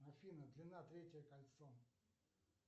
афина длина третье кольцо